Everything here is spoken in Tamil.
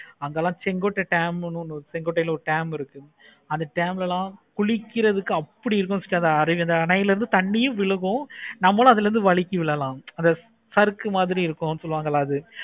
அதெல்லாம் செங்குட்ட dam னு ஒன்னு செங்குட்டையில ஒரு dam ன்னு ஒன்னு இருக்கு. அந்த dam ல எல்லாம் குளிக்கிறதுக்கு அப்படி இருக்கு அருவியில் அப்படி இருக்கு அணையில் இருந்து தன்னியு விழுங்கும். நம்மாளு அதுல இருந்து வழுக்கியும் விழலாம். சாருக்கு மாதிரி இருக்கு சொல்லுவாங்களா அது